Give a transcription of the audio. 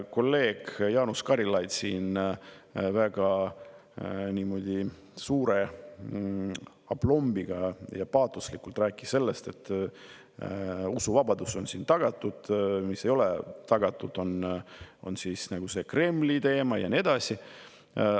Kolleeg Jaanus Karilaid siin väga suure aplombiga ja paatoslikult rääkis sellest, et usuvabadus on tagatud, et see, mis ei ole tagatud, on see Kremli teema ja nii edasi.